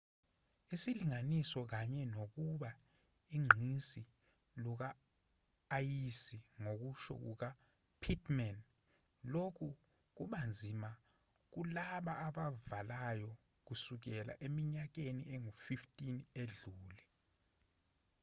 isilinganiso kanye nokuba ugqinsi luka-ayisi ngokusho kuka pittman lokhu kubanzima kulaba abavalayo kusukela eminyakeni engu-15 edlule